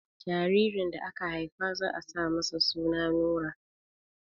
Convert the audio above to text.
Jaririn da aka Haifa za a sa masa suna Nura